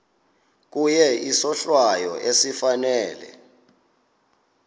kuye isohlwayo esifanele